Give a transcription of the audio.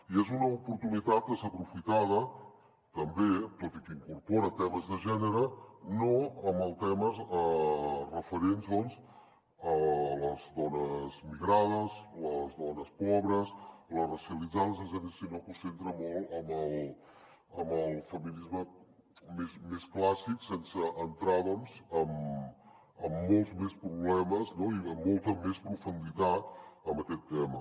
i és una oportunitat desaprofitada també tot i que incorpora temes de gènere no en els temes referents a les dones migrades les dones pobres les racialitzades sinó que ho centra molt en el feminisme més clàssic sense entrar doncs en molts més problemes i amb molta més profunditat en aquest tema